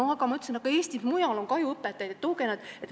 Mina ütlen, et Eestis mujal on ka ju õpetajaid, tooge nad siia.